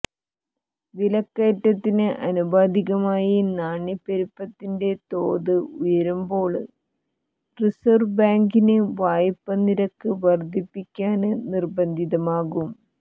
വിലക്കയറ്റത്തിന് ആനുപാതികമായി നാണ്യപ്പെരുപ്പത്തിന്റെ തോത് ഉയരുമ്പോള് റിസര്വ് ബേങ്കിന് വായ്പ നിരക്ക് വര്ധിപ്പിക്കാന് നിര്ബന്ധിതമാകും